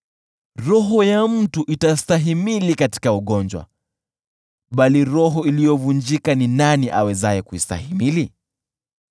Roho ya mtu itastahimili katika ugonjwa bali roho iliyovunjika ni nani awezaye kuistahimili?